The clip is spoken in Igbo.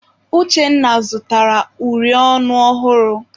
Uchenna zụtara uri ọnụ ọhụrụ.